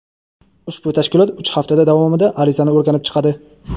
Ushbu tashkilot uch hafta davomida arizani o‘rganib chiqadi.